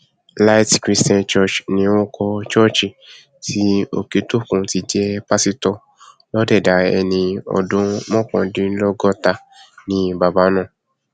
light christian church ni orúkọ ṣọọṣì tí òkẹtókùn ti jẹ pásítọ lọdẹdà ẹni ọdún mọkàndínlọgọta ni bàbá náà